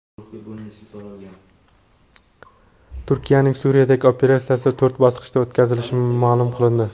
Turkiyaning Suriyadagi operatsiyasi to‘rt bosqichda o‘tkazilishi ma’lum qilindi.